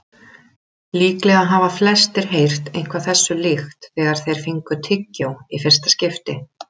Líklega hafa flestir heyrt eitthvað þessu líkt þegar þeir fengu tyggjó í fyrsta skipti.